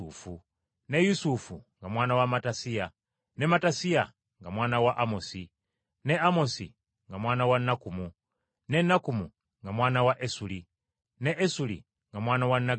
ne Yusufu nga mwana wa Mattasiya, ne Mattasiya nga mwana wa Amosi, ne Amosi nga mwana wa Nakkumu, ne Nakkumu nga mwana wa Esuli, ne Esuli nga mwana wa Naggayi,